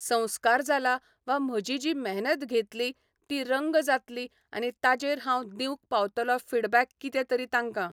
संस्कार जाला वा म्हजी जी मेहनत घेतली ती रंग जातली आनी ताजेर हांव दिवंक पावतलों फीडबॅक कितेंतरी तांकां